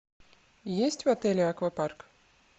есть в отеле аквапарк